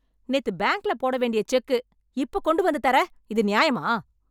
நேத்து பேங்க்ல போட வேண்டிய செக் இப்ப கொண்டு வந்து தர, இது நியாயமா?